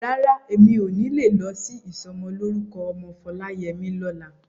Rárá, mi ò ní lè lọ sí ìsọmọlórúkọ ọmọ Foláyẹmí lọ́la.